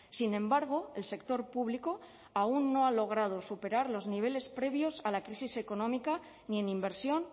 sin embargo el sector público aún no ha logrado superar los niveles previos a la crisis económica ni en inversión